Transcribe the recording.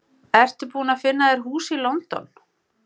Þær síðast töldu skrá fyrir hlutum prótíns sem genið er forskrift að.